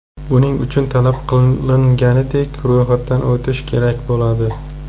Buning uchun, talab qilinganidek ro‘yxatdan o‘tish kerak bo‘ladi.